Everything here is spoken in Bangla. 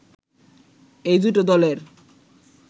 এই দুটো দলের